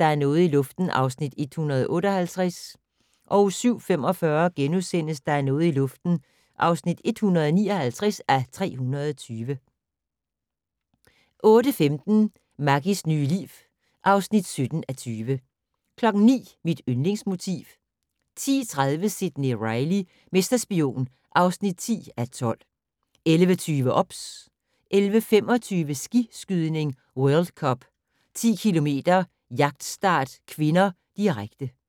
Der er noget i luften (158:320)* 07:45: Der er noget i luften (159:320)* 08:15: Maggies nye liv (17:20) 09:00: Mit yndlingsmotiv 10:30: Sidney Reilly - mesterspion (10:12) 11:20: OBS 11:25: Skiskydning: World Cup - 10 km jagtstart (k), direkte